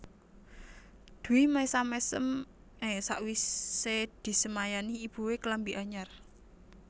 Dwi mesam mesem e sakwise disemayani ibue klambi anyar